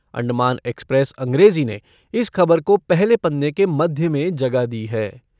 Andaman Express अंग्रेजी ने इस खबर को पहले पन्ने के मध्य में जगह दी है।